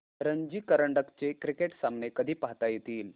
रणजी करंडक चे क्रिकेट सामने कधी पाहता येतील